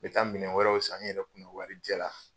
I ka minɛn wɛrɛw san n'i yɛrɛ kun do wari jɛ la